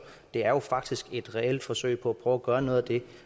det er faktisk et reelt forsøg på at prøve at gøre noget af det